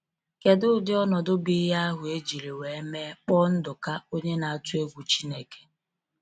Kedụ ụdị ọnọdụ bụ ihe ahụ ejiri wee mme kpọ Nduka onye na atụ egwu Chineke?